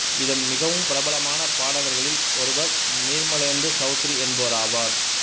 இதன் மிகவும் பிரபலமான பாடகர்களில் ஒருவர் நிர்மலேந்து சௌத்ரி என்பவராவார்